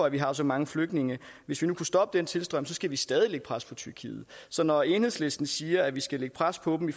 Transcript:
at vi har så mange flygtninge hvis vi nu kunne stoppe den tilstrømning skal vi stadig lægge pres på tyrkiet så når enhedslisten siger at vi skal lægge pres på dem i